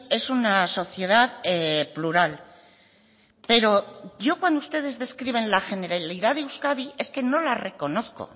es una sociedad plural pero yo cuando ustedes describen la generalidad de euskadi es que no la reconozco